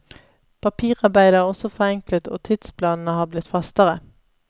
Papirarbeidet er også forenklet og tidsplanene har blitt fastere.